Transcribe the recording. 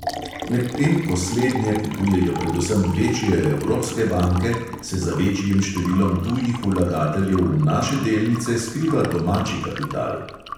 Medtem ko slednje kupujejo predvsem večje evropske banke, se za večjim številom tujih vlagateljev v naše delnice skriva domači kapital.